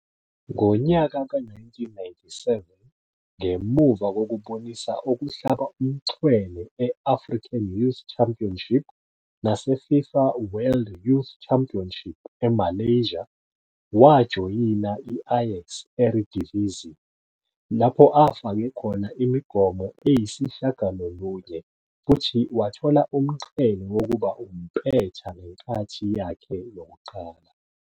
Ngonyaka ka-1997, ngemuva kokubonisa okuhlaba umxhwele e-African Youth Championship nase-FIFA World Youth Championship eMalaysia, wajoyina i-Ajax e-Eredivisie, lapho afake khona imigomo eyisishiyagalolunye futhi wathola umqhele wokuba umpetha ngenkathi yakhe yokuqala.